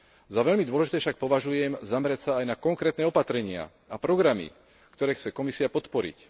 Za veľmi dôležité však považujem zamerať sa aj na konkrétne opatrenia a programy, ktoré chce Komisia podporiť.